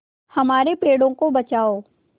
हमारे पेड़ों को बचाओ